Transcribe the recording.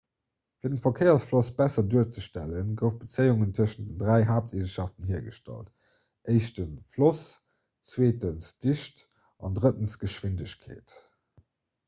fir den verkéiersfloss besser duerzestellen goufe bezéiungen tëschent den dräi haapteegenschaften hiergestallt: 1 floss 2 dicht a 3 geschwindegkeet